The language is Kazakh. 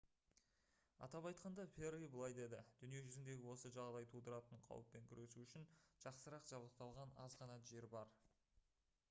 атап айтқанда пэрри былай деді: «дүние жүзінде осы жағдай тудыратын қауіппен күресу үшін жақсырақ жабдықталған аз ғана жер бар»